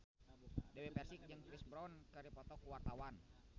Dewi Persik jeung Chris Brown keur dipoto ku wartawan